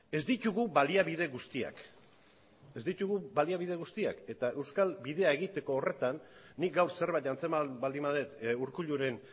ez ditugu baliabide guztiak ez ditugu baliabide guztiak eta euskal bidea egiteko horretan nik gaur zerbait antzeman baldin badut urkulluren